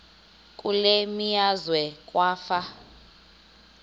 kule meazwe kwafa